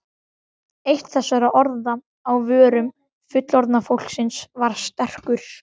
Eitt þessara orða á vörum fullorðna fólksins var stekkur.